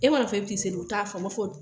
E mana fɔ e bi t'i seli u t'a faama, u b'a fɔ